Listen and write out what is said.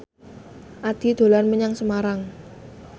Addie dolan menyang Semarang